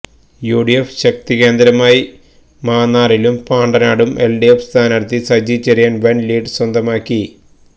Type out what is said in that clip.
UDF ശക്തി കേന്ദ്രമായ മാന്നാറിലും പാണ്ടനാടും LDF സ്ഥാനാർഥി സജിചെറിയാൻ വൻ ലീഡ് സ്വന്തമാക്കി